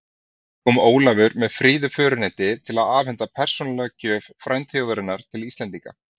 Kom Ólafur með fríðu föruneyti til að afhenda persónulega gjöf frændþjóðarinnar til Íslendinga.